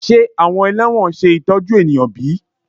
Ṣe awọn ẹlẹwọn ṣe itọju eniyan bi?